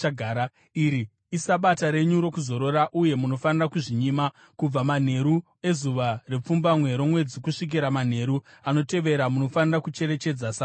Iri iSabata renyu rokuzorora, uye munofanira kuzvinyima. Kubva manheru ezuva repfumbamwe romwedzi kusvikira manheru anotevera munofanira kucherechedza Sabata.”